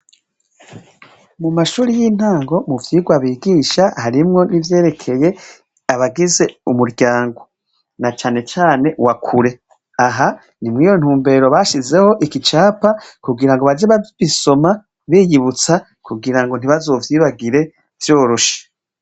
Mumashure yintango muvyirwa bigisha harimwo nivyerekeye abagize umuryango na canecane wakure aha nimwiyo ntumbero bashizeho igicapa kugira bake bagisoma kugira ntibazovyibagire vyoroshe.